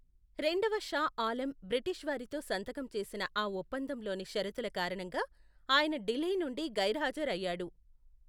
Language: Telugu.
రెండవ షా ఆలం బ్రిటిష్ వారితో సంతకం చేసిన ఆ ఒప్పందంలోని షరతుల కారణంగా ఆయన ఢిల్లీ నుండి గైర్హాజరు అయ్యాడు.